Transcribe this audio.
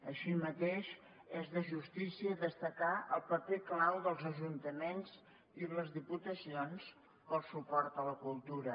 així mateix és de justícia destacar el paper clau dels ajuntaments i les diputacions pel suport a la cultura